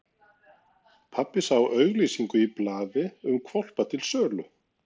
Pabbi sá auglýsingu í blaði um hvolpa til sölu.